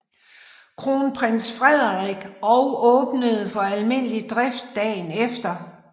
Kronprins Frederik og åbnede for almindelig drift dagen efter